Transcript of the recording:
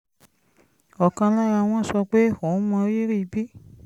ọ̀kan lára wọn sọ pé òun mọrírì bí